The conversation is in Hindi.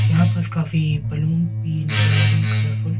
यहां पास काफी बलून भी नजर आ रहे हैं कलरफुल --